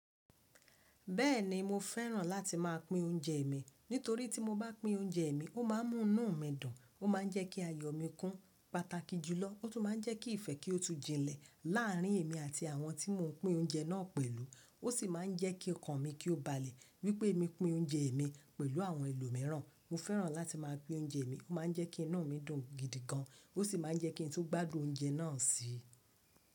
Bẹ́ẹ̀ni mo fẹ́ràn láti máa pín oúnjẹ mi nítorí tí mo bá pín oúnjẹ mi, ó má a múnú mi dùn, ó má a jẹ́ kí ayọ̀ mi kún pàtàkì jùlọ, ó tún má a jẹ́ kí ìfẹ́ kí ó tu jinlẹ̀ láàrin èmi àti àwọn tí mo pín oúnjẹ náà pẹ̀lú. Ó sì má a jẹ́ kí ọkàn mi kí ó balẹ̀. Wípé mi pín oúnjẹ mi pẹ̀lú àwọn ẹlòmíràn. Mo fẹ́ràn láti máa pín oúnjẹ mi, ó má a jẹ́ kí inú mi dùn gidi gan, ó sì má a jẹ́ kí ń tó gbádùn oúnjẹ náà sii.